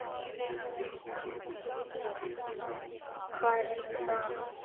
Hvað er nú það?